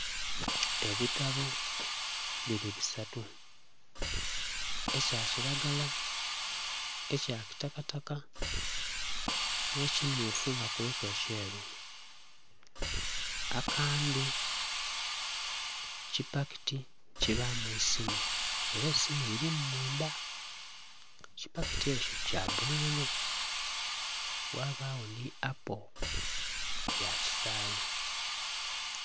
Ebitabbo biri bisatu ekya kilagala, ekya kitakataka nhe kimyufu nga kuliku ekyeru akandhi kipakiti kibamu esiimu era esiimu lilimu mundha, ekipakiyi ekyo kya bululu ghabagho nhi appo ya kisayi.